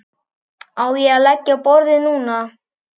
Á ég að leggja á borðið núna?